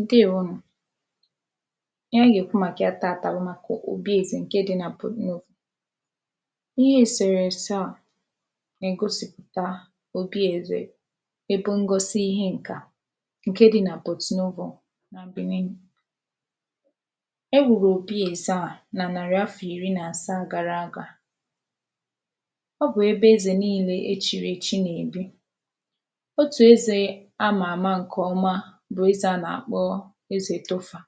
Ǹdeèwonù, ihe ànyị gèkwu màkà ya tatà bụ̀ màkà òbièzè ǹke dị nà Porto-Novo. Ihe èsèrèse a nègosìpụta òbi èzè ebe ngosi ihe ǹkà ǹke dị nà Porto-Novo nà Benin E wùrù òbi èze a nà nàrị̀ afì ìri nàsaa gara aga ọ bụ̀ ebe ezè niinē e chìrèchi nèbi otù ezè amà àma ǹkọ̀ọma bụ̀ ezè a nàkpọ ezè Toffa,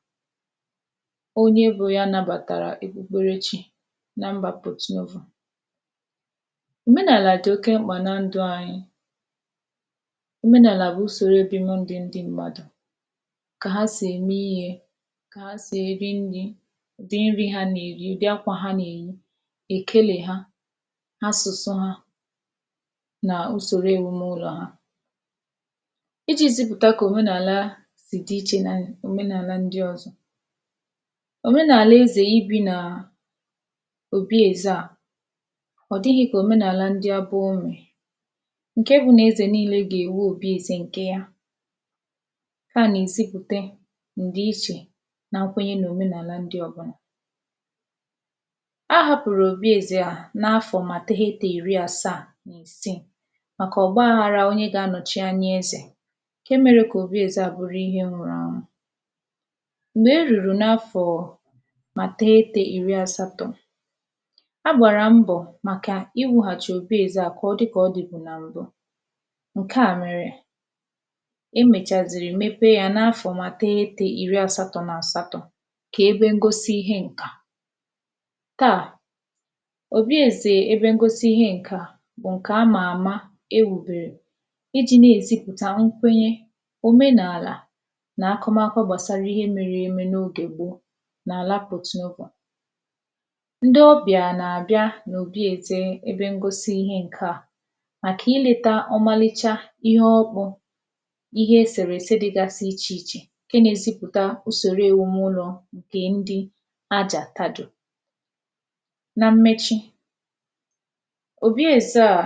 onye bụ ya nabàtàrà ekpukpere chi na mbā Porto-Novo Òmenàlà dò oke mkpà na ndụ̄ anyị òmenàlà bụ̀ ụsòro obibi ndị mmadụ̀, kà ha sị̀ ème iyē kà ha sị̀ èri nrī, ùdị nrị ha nèri, ụ̀dị akwà ha nèyi èkelè ha, asụ̀sụ ha, nà usòro èwume ụlọ̀ ha ijī zịpụ̀ta kò òmenàla jì dị iche nò òmenàla ndị ọ̀zọ Òmenàlà ezè ibī nàà òbi èze a ọ̀ dịghị̄ kà òmenàlà ndị ebe unù ǹke bụ nà ezè niinē gènwe òbi ezē ǹkè ya ǹka a nèzipùta ǹdìichè nà nkwenye nò òmenàlà ndị ọ̀bụlà A hāpụ̀rụ̀ òbi ezē a n’afọ̄ mà teghetē ìri asaa màkà ọgbaghārā onye gā-anọ̀chi anya ezè ǹke mērē kò òbi ezē a bụrụ ihe nwụrụ anwụ, m̀gbè erùrù n’afọ̀ọ̀ mà teghete ìri àsatọ̄ a gbàrà mbọ̀ màkà iwēghàchì òbi ezē a kà ọ dị kà ọ dị̀bu nà mbụ ǹke a mèrè emēchàzìrì mepee yā n’afọ̀ mà teghetē ìri àsatọ̄ nàsatọ̄ kè ebe ngosi ihe ǹkà. Taa òbi èzè ebe ngosi ihe ǹkà bụ̀ ǹkà amà àma ewùbèrè ijī ne-èzipùta nkwenye, òmenàlà nà akụmakọ gbàsara ihe mere eme n’ogè gboo n’àla Porto-Novo ndị ọbịà nàbịa n’òbi èze ebe ngosi ihe ǹka a màkà ilētā ọmalịcha ihe ọkpụ̄ ihe èsèrèse dị ichè ichè ǹke nē-ezipụ̀ta usòro èwumụlọ̄ ǹkè ndị Ajàkadò. Nà mmechi, òbi èze a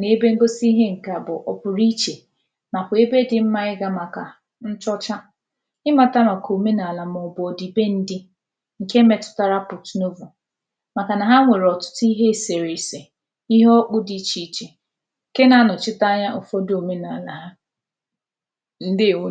nè ebe ngosi ihe ǹka a bụ̀ ọ̀pùrụ̀ichè nàkwà ebe dị mmā ịgā màkà nchọcha ịmātā òmenàlà mọ̀bụ̀ ọ̀dị̀bendị ǹke metụtara Porto-Novo màkà nà ha nwèrè ihe èsèrèse, ihe ọkpụ̄ dị ichè ichè ǹke nā anọ̀chite anya ụ̀fọdụ òmenàlà ha, ǹdeèwo